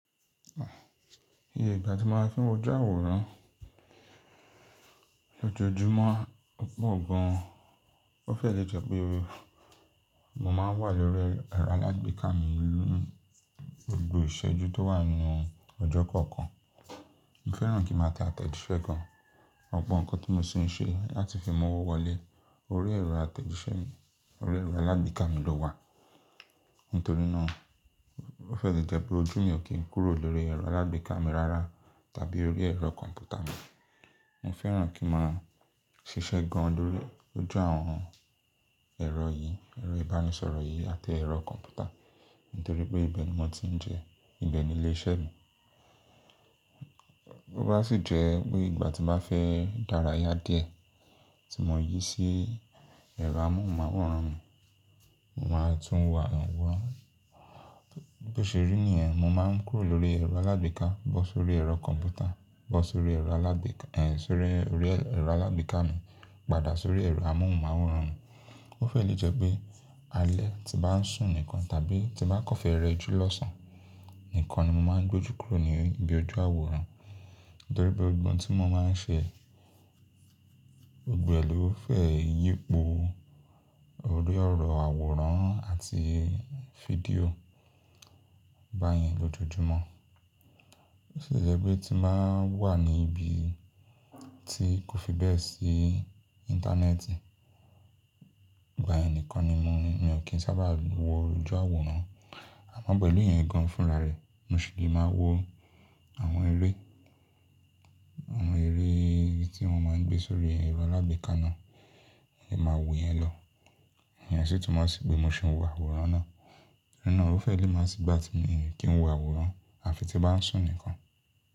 Iye ìgbà tí mo máa ń fi wo ojú àwòrán lójoojúmọ́ pọ̀ gan. Ó fẹ́ lè jẹ́ pé mo máa ń wà lórí ẹ̀rọ alágbèéká mi ní gbogbo ìṣẹ́jú tó wà nínú ọjọ́ kọ̀ọ̀kan. Mo fẹ́ràn kí n máa tẹ àtẹ̀jíṣẹ́ gan, ọ̀pọ̀ nǹkan tí mo sì ń ṣe láti fi mọ́wọ́ wọlé. Orí ẹ̀rọ àtẹ̀jíṣẹ́ mi, orí ẹ̀rọ alágbèéká mi ló wà. Nítorí náà ó fẹ́ lè jẹ́ pé ojú mi ò kí ń kúrò lórí ẹ̀rọ alágbèéká mi rárá tàbí orí ẹ̀rọ kọ̀m̀pútà mi. Mo fẹ́ràn kí n máa ṣiṣẹ́ gan lójoojú àwọn ẹ̀rọ yìí, ẹ̀rọ ìbánisọ̀rọ̀ yìí àti ẹ̀rọ kọ̀m̀pútà nítorí pé ibẹ̀ ni mo ti ń jẹ, ibẹ̀ ni ilé iṣẹ́ mi. Ó bá sì jẹ́ pé ìgbà tí mo bá fẹ́ daraya díẹ̀ tí mo ń yí sí ẹ̀rọ amóhùnmáwòrán mi, mo máa tún wà wọ́n. Bí ó ṣe rí nìyẹn, mo máa ń kúrò lórí ẹ̀rọ alágbèéká bọ́ sórí ẹ̀rọ alágbèéká mi padà sórí ẹ̀rọ amóhùnmáwòrán mi. Ó fẹ́ lè jẹ́ pé alẹ́ tí bá ń sùn nìkan tàbí tí bá kọ́fẹ̀ rẹ jù lọ́sàn án nìkan ni mo máa ń gbojú kúrò ní ibi ojú àwòrán. Nítorí pé ọgbọ́n tí mo máa ń ṣe gbè ló fẹ́ yípo orí ọ̀rọ̀ àwòrán àti fídíò báyẹn lójoojúmọ́. Ó sì jẹ́ pé tí mo wà ní ibi tí kò fi bẹ́ẹ̀ sí Íńtánẹ́ẹ̀tì báyẹn nìkan ni mi ò kí ń sábà wọ ojú àwòrán. Àmọ́ pẹ̀lú ìyẹn gan fúnra rẹ̀, mo sì lè máa wo àwọn eré tí wọ́n máa ń gbé sórí ẹ̀rọ alágbèéká náà, èyí máa wòó yẹn lọ. Ìyẹn sì tún máa sì pé mo sì ń wo àwòrán náà. Nítorí náà ó fẹ́ lè máa sì bá ti mi kí n wo àwòrán àfi tí bá ń sùn nìkan.